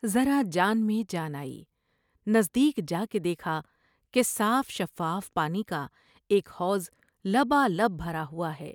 ذرا جان میں جان آئی۔ نزد یک جاکے دیکھا کہ صاف شفاف پانی کا ایک حوض لبالب بھرا ہوا ہے ۔